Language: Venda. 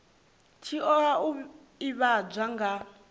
tshi oa u ivhadzwa nga